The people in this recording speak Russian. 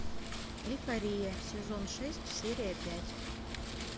эйфория сезон шесть серия пять